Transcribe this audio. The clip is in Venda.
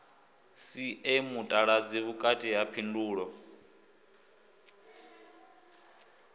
sie mutaladzi vhukati ha phindulo